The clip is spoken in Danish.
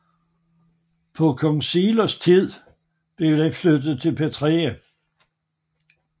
På kong Silos tid blev den flyttet til Pravia